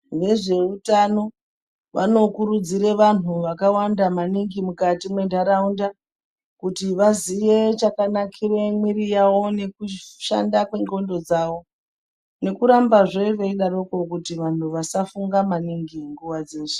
Vezveutano vanokurudzire vantu vakawanda maningi mukati mwentaraunda kuti vaziye chakanakire mwiri yawo nekushanda kwendxondo dzawo nekurambazve veidaro kuti vantu vasafunga maningi munguwa dzeshe.